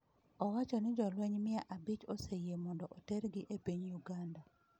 Owacho ni jolweny mia abich oseyie mondo otergi e piny Uganda.